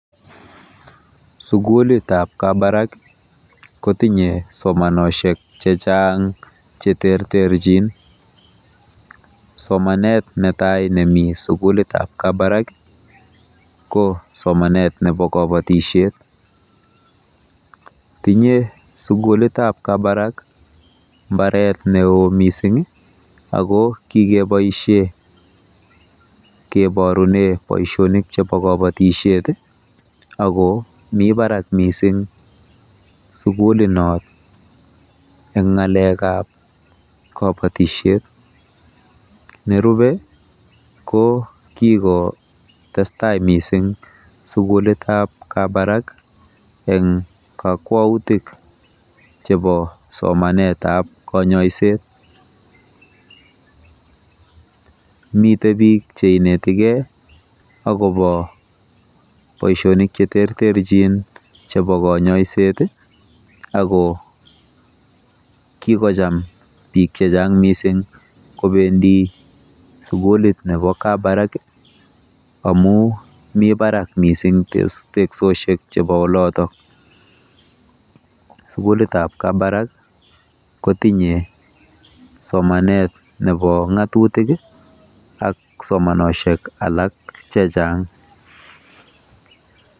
sugulit ab kabarak kotinye somansiek chechang cheterterjin, somanet netai nemi sugulit ab kabarak ko somanet nebo kobotisyet, tinye sugulit ab kabarak mbaret neo missing ako kikebisien kiborunen boisionik chebo kobotisiet ii, ako mi barak sugulit noton en ng'alek ab kabotisiet, nerube jo kikotestai missing sugulit ab [c]kabarak en kokwoutik chebo somanet ab konyoiset, miten biik cheinetigen akobo boisionik cheterterchin chebo konyoiset ii ako kikocham biik checshan missing kobendi sugulit nebo kabarak amun mi barak missing teksosiek chebo oloton, sugulit ab kabarak kotinye somanet nebo ng'atutik ak somanosiek alak chechang.